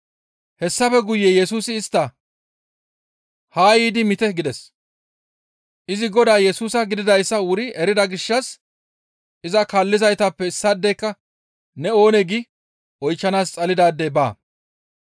Hessafe guye Yesusi istta, «Haa yiidi miite» gides. Izi Godaa Yesusa gididayssa wuri erida gishshas iza kaallizaytappe issaadeyka, «Ne oonee?» gi oychchanaas xalidaadey baa.